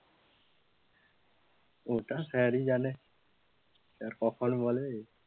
ওটা sir ই জানেন, যার কপাল বলে,